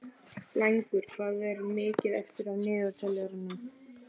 Blængur, hvað er mikið eftir af niðurteljaranum?